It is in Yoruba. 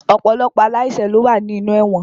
Ọ̀pọ̀lọpọ̀ aláìṣẹ̀ ló wà ní inú ẹ̀wọ̀n